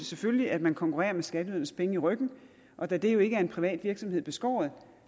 selvfølgelig at man konkurrerer med skatteydernes penge i ryggen og da det jo ikke er en privat virksomhed beskåret